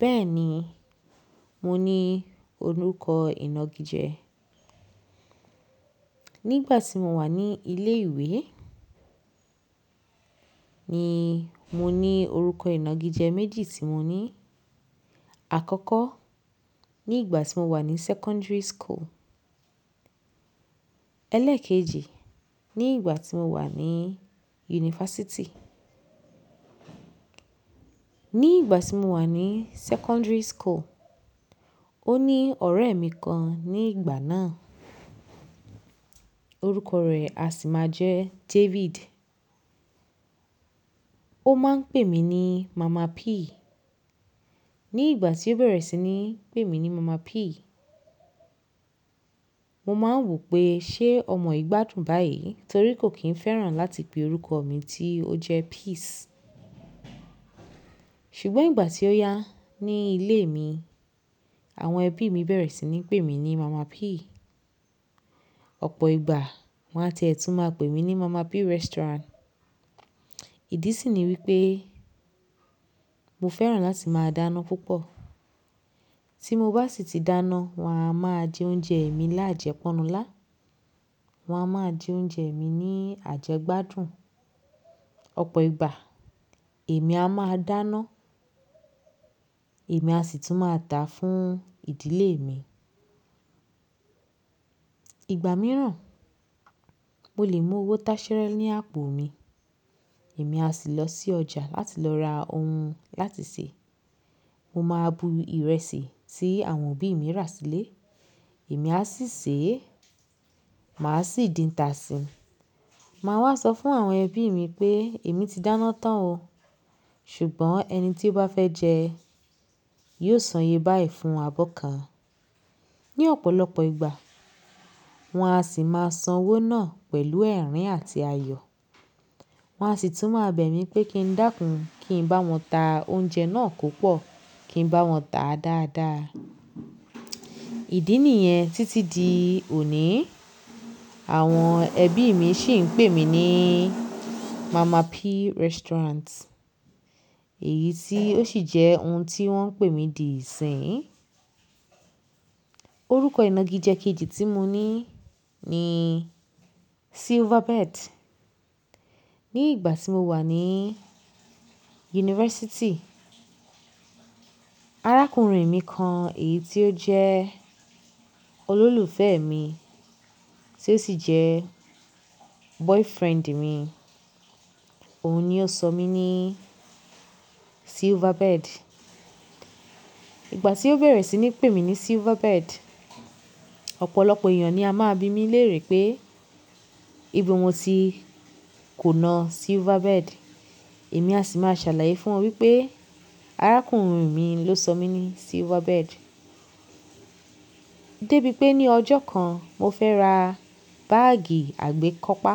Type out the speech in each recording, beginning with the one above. Bẹ́ẹ̀ni, mo ní orúkọ ìnagijẹ. Nígbà tí mo wà ní ilé ìwé ni mo ní orúkọ ìnagijẹ méjì tí mo ní. Àkọ́kọ́ ní ìgbà tí mo wà ní secondary school, ẹlẹ́ẹ̀kejì ní ìgbà tí mo wà ní yunifásítì. Ní ìgbà tí mo wà ní secondary school, ó ní ọ̀rẹ́ mi kan ní ìgbà náà, orúkọ rẹ̀ a sì máa jẹ́ David. Ó máa ń pè mí ní Mama P. Ní ìgbà tí ó bẹ̀rẹ̀ sí ní pè mí ní Mama P, mo máa ń wò pé ṣé ọmọ yii gbádùn báyìí torí kò kí ń fẹ́ràn láti pe orúkọ mi tí ó jẹ́ Peace. Ṣùgbọ́n ìgbà tí ó yá ní ilé mi, àwọn ẹbí mi bẹ̀rẹ̀ sí ní pè mí ní Mama P. Ọ̀pọ̀ ìgbà wọ́n á ti ẹ tùn máa pè mí ní Mama P Restaurant. Ìdí sì ni wípé mo fẹ́ràn láti máa dáná púpọ̀. Tí mo bá sì ti dáná, wọ́n á máa jẹ oúnjẹ mi lájẹ́pọ̀nnú lá. Wọn a máa jẹ oúnjẹ mi ní àjẹgbádùn. Ọ̀pọ̀ ìgbà èmi a máa dáná, èmi a sì tún máa dàá fún ìdílé mi. Ìgbà mìíràn mo lè mú owó táṣẹ́rẹ́ ní àpò mi. Èmi a sì lọ sí ọjà láti lọ ra ohun láti sè. Mo máa bu ìrẹsì tí àwọn òbí mi rà sílé, èmi a sì sè é, màá sì dín'ta síi. Màá wá sọ fún àwọn ẹbí mi pé èmi ti dáná tán o. Ṣùgbọ́n ẹni tí ó bá fẹ́ jẹ yóò sán iye báyìí fún abọ́ kan. Ní ọ̀pọ̀lọpọ̀ ìgbà wọ́n á sì máa san owó náà pẹ̀lú ẹ̀rín àti ayọ̀. Wọn á sì tún máa bẹ̀ mí pé kí n dákun, kí n bá wọn ta oúnjẹ náà ko pọ̀, kí n bá wọn tà á dáadáa. Ìdí nìyẹn títí di òní àwọn ẹbí mi sì ń pè mí ní Mama P Restaurant. Èyí tí ó sì jẹ́ ohun tí wọ́n ń pè mí di ìsìn. Orúkọ ìnagijẹ kejì tí mo ní ni Silverbird. Ní ìgbà tí mo wà ní yunifásítì, arákùnrin mi kan èyí tí ó jẹ́ olólùfẹ́ mi tí ó sì jẹ́ boyfriend mi, òun ni ó sọ mí ní Silverbird. Ìgbà tí ó bẹ̀rẹ̀ sí ní pè mí ní Silverbird, ọ̀pọ̀lọpọ̀ ènìyàn ni a máa bi mí léèrè pé ibo mo ti konà Silverbird. Èmi a sì máa ṣàlàyé fún wọn wípé arákùnrin mi ló sọ mí ní Silverbird. Débí pé ní ọjọ́ kan mo fẹ́ ra báàgì àgbékọ́pá,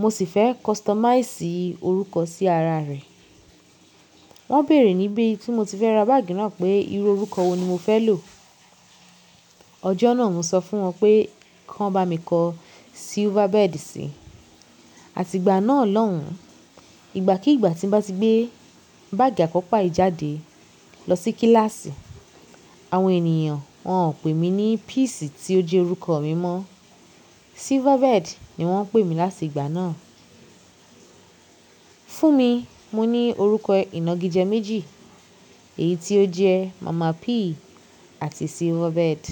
mo sì fẹ́ customize orúkọ sí ara rẹ̀. Wọ́n béèrè níbí tí mo ti fẹ́ ra báàgì náà pé irú orúkọ wo ni mo fẹ́ lò. Ọjọ́ náà mo sọ fún wọn pé kí wọ́n bá mi kọ Silverbird sí i. Àti ìgbà náà lọ́hùn, ìgbà kí ìgbà tí n bá ti gbé báàgì àkópá yìí jáde lọ sí kíláàsì, àwọn ènìyàn wọ́n ò pé mi ní Peace tí ó jẹ́ orúkọ mi mọ́. Silverbird ni wọ́n ń pè mí láti ìgbà náà. Fún mi mo ní orúkọ ìnagijẹ méjì, èyí tí ó jẹ́ Mama P àti Silverbird.